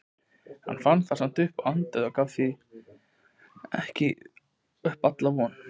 Hann fann samt að hann andaði og gaf því ekki upp alla von.